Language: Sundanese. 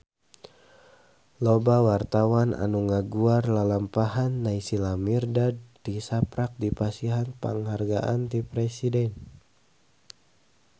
Loba wartawan anu ngaguar lalampahan Naysila Mirdad tisaprak dipasihan panghargaan ti Presiden